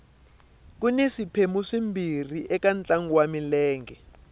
kuni swiphemu swimbirhi ka ntlangu wa milenge